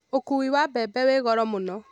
Ũkuui wa mbembe wĩ goro mũno